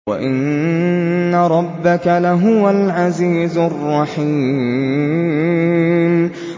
وَإِنَّ رَبَّكَ لَهُوَ الْعَزِيزُ الرَّحِيمُ